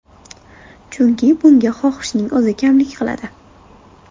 Chunki bunga xohishning o‘zi kamlik qiladi.